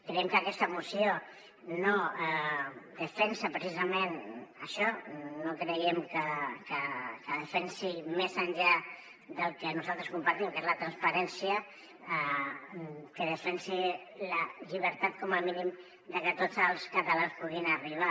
creiem que aquesta moció no defensa precisament això no creiem que defensi més enllà del que nosaltres compartim que és la transparència la llibertat com a mínim de que tots els catalans hi puguin arribar